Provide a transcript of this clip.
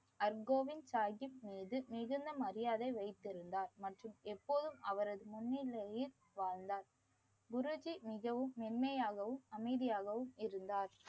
அர்கோவிந்த் சாஹீப் மீது மிகுந்த மரியாதை வைத்திருந்தார் மற்றும் எப்போதும் அவரது முன்னிலையில் வாழ்ந்தார். குருஜி மிகவும் மென்மையாகவும் அமைதியாகவும் இருந்தார்.